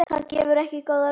Það gefur ekki góða raun.